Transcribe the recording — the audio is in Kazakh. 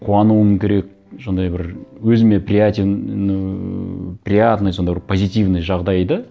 қуануым керек сондай бір өзіме ну приятный сондай бір позитивный жағдайды